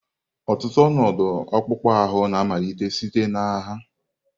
Ọtụtụ ọnọdụ akpụkpọ ahụ na-amalite site na agha.